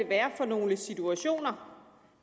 være for nogle situationer